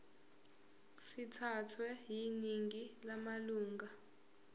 sithathwe yiningi lamalunga